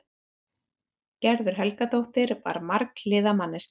Gerður Helgadóttir var marghliða manneskja.